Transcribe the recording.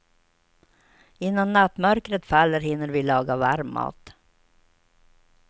Innan nattmörkret faller hinner vi laga varm mat.